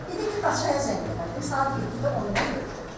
Dedi ki, Qaçay zəng elədim, saat 7-də onunla görüşürəm.